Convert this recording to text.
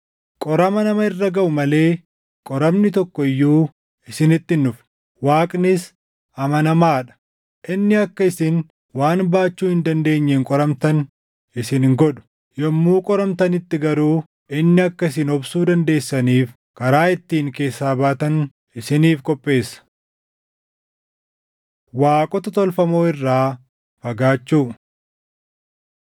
Qorama nama irra gaʼu malee qoramni tokko iyyuu isinitti hin dhufne. Waaqnis amanamaa dha; inni akka isin waan baachuu hin dandeenyeen qoramtan isin hin godhu. Yommuu qoramtanitti garuu inni akka isin obsuu dandeessaniif karaa ittiin keessaa baatan isiniif qopheessa. Waaqota Tolfamoo Irraa Fagaachuu